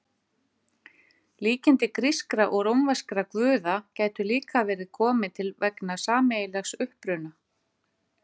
Líkindi grískra og rómverskra guða gætu líka verið komin til vegna sameiginlegs uppruna.